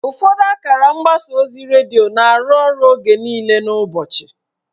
Ụfọdụ akara mgbasa ozi redio na-arụ ọrụ oge niile n'ụbọchị.